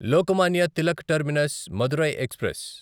Lokmanya Tilak terminus Madurai express